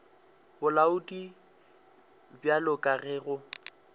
bolaodi bjalo ka ge go